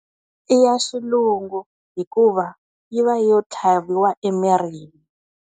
I ya xilungu. Hikuva, yi va yo tlhaviwa emirhini.